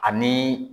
Ani